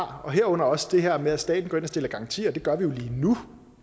har herunder også det her med at staten går ind og stiller garantier og det gør den jo lige nu